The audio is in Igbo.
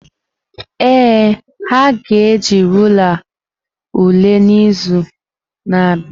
Ee, ha ga-eji rulaa ule n’izu na-abịa.